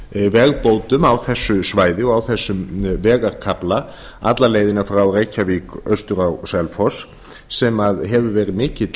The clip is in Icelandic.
vegabótum á þessu svæði og á þessum vegarkafla alla leiðina frá reykjavík austur á selfoss sem hefur verið mikill